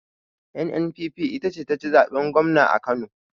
NNPP ita ce jam'iyar da taci zaɓen gwamna a kano